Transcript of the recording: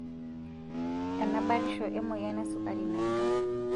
Ena batisho emoyian esukari naida.